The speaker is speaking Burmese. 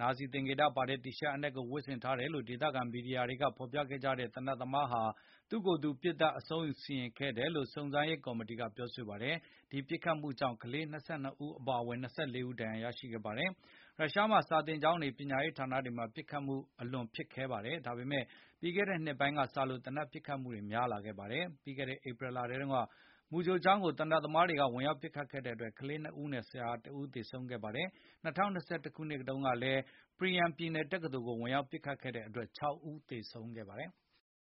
နာဇီသင်္ကေတပါတဲ့ တီရှပ်အနက်ကို ဝတ်ဆင်ထားတယ်လို့ ဒေသခံ မီဒီယာတွေက ဖော်ပြခဲ့ကြတဲ့ သေနတ်သမားဟာ သူ့ကိုယ်သူ ပစ်သတ်အဆုံးအစီရင်ခဲ့တယ်လို့လည်း စုံစမ်းရေး ကော်မီတီက ပြောပါတယ်။ ဒီပစ်ခတ်မှု ကြောင့် ကလေး ၂၂ ဦး အပါအဝင် ၂၄ ဦး ဒါဏ်ရာရှိခဲ့ပါတယ်။ ရုရှားမှာစာသင်ကျောင်းတွေ၊ ပညာရေးဌာနတွေမှာ ပစ်ခတ်မှုတွေ အလွန်ဖြစ်ခဲပါတယ်။ ဒါပေမယ့် ပြီးခဲ့တဲ့နှစ်ပိုင်းကစလို့ သေနတ် ပစ်ခတ်မှုတွေများလာခဲ့ပါတယ်။ ပြီးခဲ့တဲ့ ဧပြီထဲတုန်းက မူကြိုကျောင်းကို သေနတ်သမားက ဝင်ရောက်ပစ်ခတ်ခဲ့တဲ့တွက် ကလေးနှစ်ဦးနဲ့ ဆရာတဦး သေဆုံးခဲ့ပါတယ်။ ၂ဝ၂၁ စက်တင်ဘာလ ကလည်း Perm ပြည်နယ် တက္ကသိုလ်ကို ဝင်ရောက် ပစ်ခတ်ခဲ့တဲ့တွက် ၆ ဦးသေဆုံးခဲ့ပါတယ်။